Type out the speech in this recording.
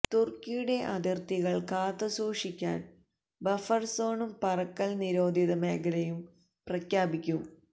തുര്ക്കിയുടെ അതിര്ത്തികള് കാത്തുസൂക്ഷിക്കാന് ബഫര് സോണും പറക്കല് നിരോധിത മേഖലയും പ്രഖ്യാപിക്കും